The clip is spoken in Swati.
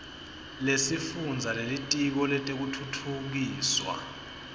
lesifundza lelitiko letekutfutfukiswa